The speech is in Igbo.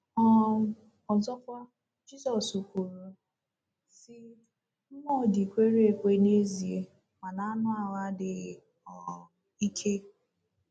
um Ọzọkwa, Jizọs kwuru, sị: ‘ Mmụọ dị kwere ekwe n’ezie, mana anụ ahụ adịghị um ike. ’